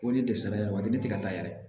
O de tɛ sara waati ne tɛ ka taa yɛrɛ